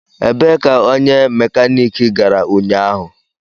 Ebee ka onye mekaniki gara ụnyaahụ?